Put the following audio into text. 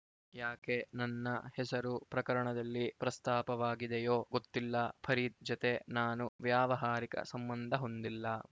ಯಾಕೆ ನನ್ನ ಹೆಸರು ಪ್ರಕರಣದಲ್ಲಿ ಪ್ರಸ್ತಾಪವಾಗಿದೆಯೋ ಗೊತ್ತಿಲ್ಲ ಫರೀದ್‌ ಜತೆ ನಾನು ವ್ಯಾವಹಾರಿಕ ಸಂಬಂಧ ಹೊಂದಿಲ್ಲ